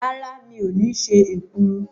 Rárá, mi ò ní ṣe èkuru.